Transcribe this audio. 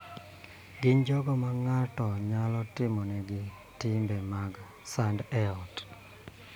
Gin jogo ma ng�ato nyalo timonegi timbe mag sand e ot.